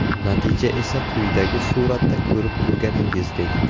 Natija esa quyidagi suratda ko‘rib turganingizdek .